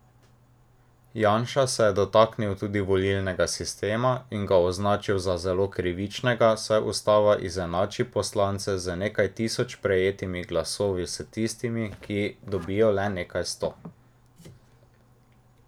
Janša se je dotaknil tudi volilnega sistema in ga označil za zelo krivičnega, saj ustava izenači poslance z nekaj tisoč prejetimi glasovi s tistimi, ki dobijo le nekaj sto.